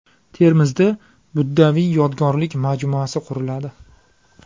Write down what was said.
Termizda buddaviy yodgorlik majmuasi quriladi.